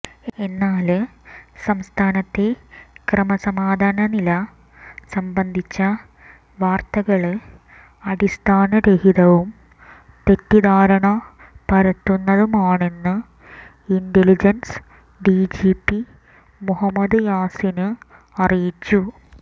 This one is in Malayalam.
എന്നാല് സംസ്ഥാനത്തെ ക്രമസമാധാന നില സംബന്ധിച്ച വാര്ത്തകള് അടിസ്ഥാനരഹിതവും തെറ്റിദ്ധാരണ പരത്തുന്നതുമാണെന്ന് ഇന്റലിജന്സ് ഡിജിപി മുഹമ്മദ് യാസിന് അറിയിച്ചു